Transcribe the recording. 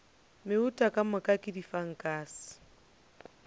meuta ka moka ke difankase